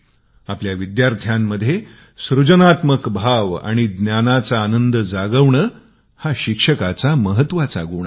आपल्या विद्यार्थ्यांमध्ये सृजनात्मक भाव आणि ज्ञानाचा आनंद जागविणे हा शिक्षकाचा महत्वाचा गुण आहे